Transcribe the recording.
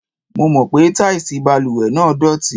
Mo mọ̀ pé táìsì balùwẹ̀ náà dọ̀tí.